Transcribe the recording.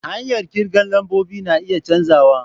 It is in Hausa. Hanyar kirga lambobi na iya canzawa.